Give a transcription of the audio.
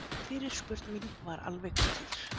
Fyrirspurn mín var alveg skýr